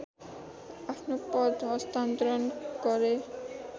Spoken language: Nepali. आफ्नो पद हस्तान्तरण गरे